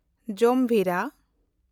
ᱡᱟᱢᱵᱷᱤᱨᱟ